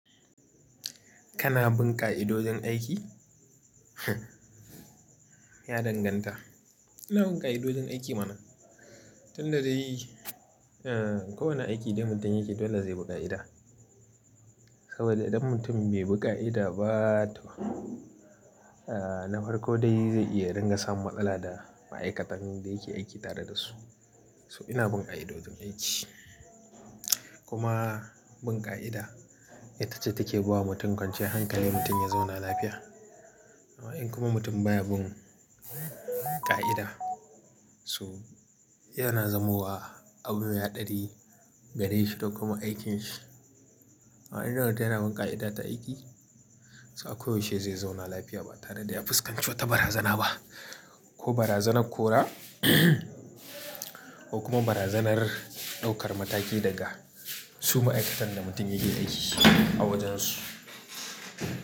Kana bin ƙa'idojin aiki? Hm Ya danganta. Ina binƙa'idojin aiki mana. Tunda dai, eh, kowane aiki dai mutum yake dole zai biƙa'i da. Kawaidai idan mutum bai bi ƙa'ida ba to, eh, na farko dai zai iya dinga samun matsala da ma'aikatan da yake aiki tare da su. So ina bunƙai'a dojin aiki. Kuma bun ƙa'ida ita ce take bawa mutum kwanciyan hankali mutum ya zauna lafiya. Amma in kuma mutum baya bun ƙa'ida, so yana zamowa abu me haɗari gare shi da kuma aikinsa. Amma idan wanda yana bunƙai'a ta aiki, so a koyaushe zai zauna lafiya ba tare da ya fuskanci wata barazana ba. Ko barazanar kora ko kuma barazanar ɗaukar mataki daga su ma'aikatan da mutum yake aiki a wajen su.